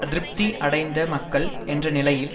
அதிருப்தி அடைந்த மக்கள் என்ற நிலையில்